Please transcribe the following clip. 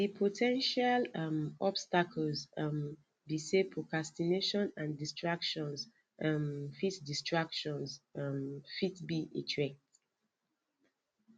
di po ten tial um obstacles um be say procastination and distractions um fit distractions um fit be a threat